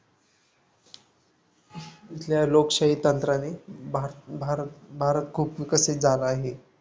इथल्या लोकशाही तंत्राने भारत भारत भारत खूप विकसित झाला आहे.